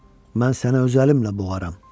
Mən sənə öz əlimlə boğaram.